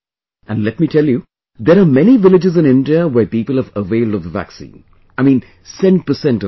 And let me tell you...there are many villages in India where people have availed of the vaccine...I mean, cent percent of them